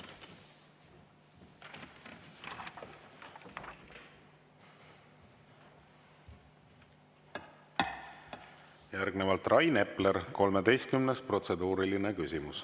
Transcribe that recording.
Järgnevalt Rain Epler, 13. protseduuriline küsimus.